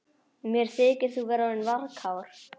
Mér þykir þú vera orðinn varkár